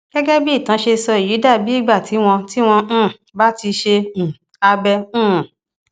gẹgẹ bí ìtàn ṣe sọ èyí dà bí ìgbà tí wọn tí wọn um bá ti ṣe um abẹ um